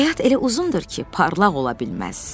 Həyat elə uzundur ki, parlaq ola bilməz.